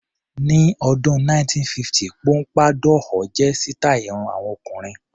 Ní ọdún 1950 póḿpádọ́ọ̀ jẹ́ sítàì irun àwọn ọkùnrin.